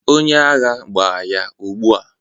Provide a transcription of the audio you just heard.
onye agha, gbaa ya ugbua